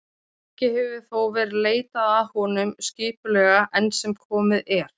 Ekki hefur þó verið leitað að honum skipulega enn sem komið er.